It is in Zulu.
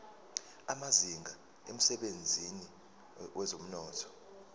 amazinga emsebenzini wezomnotho